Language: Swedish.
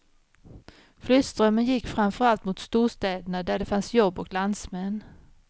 Flyttströmmen gick framför allt mot storstäderna där det fanns jobb och landsmän.